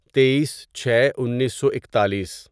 تئیس چھے انیسو اکتالیس